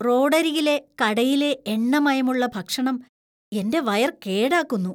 റോഡരികിലെ കടയിലെ എണ്ണമയമുള്ള ഭക്ഷണം എന്‍റെ വയര്‍ കേടാക്കുന്നു.